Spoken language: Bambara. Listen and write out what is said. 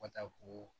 Ka taa ko